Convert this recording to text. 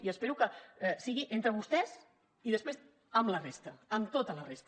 i espero que sigui entre vostès i després amb la resta amb tota la resta